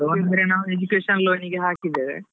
Loan ಅಂದ್ರೆ ನಾವು, education loan ಇಗೆ ಹಾಕಿದ್ದೇವೆ.